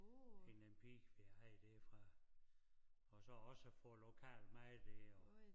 Hende den pige vi havde derfra og så også få lokal mad dér og